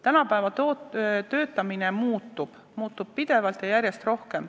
Tänapäeval töötamine muutub, see muutub pidevalt ja järjest rohkem.